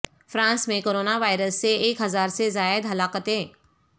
France میں corona virus سے ایک ہزار سے زائد ہلاکتیں